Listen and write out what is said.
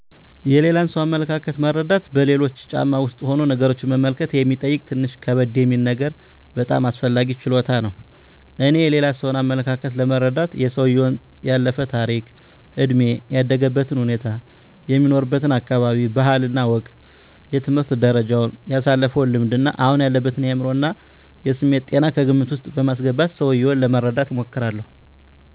የሌላን ሰው አመለካከት መረዳት በሌሎች ጫማ ውስጥ ሁኖ ነገሮችን መመልከት የሚጠይቅ ትንሽ ከበድ የሚል ነገር ግን በጣም አስፈላጊ ችሎታ ነው። እኔ የሌላ ሰውን አመለካከት ለመረዳት የሰውየውን ያለፈ ታሪክ፣ እድሜ፣ ያደገበትን ሁኔታ፣ የሚኖርበትን አካባቢ ባህል እና ወግ፣ የትምህርት ደረጃውን፣ ያሳለፈውን ልምድ እና አሁን ያለበትን የአዕምሮ እና የስሜት ጤና ከግምት ዉስጥ በማስገባት ሰውየውን ለመረዳት እሞክራለሁ።